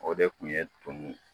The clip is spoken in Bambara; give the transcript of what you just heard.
O de kun ye tu